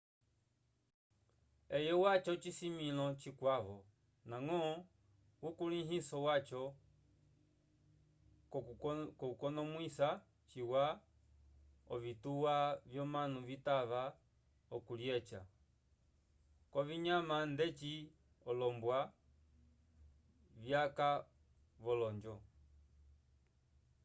eye waca ocisimĩlo cikwavo ndañgo ukulĩhiso waco k'okunomwisa ciwa ovituwa vyomanu citava okulyeca k'ovinyama ndeci olombwa vyaka v'olonjo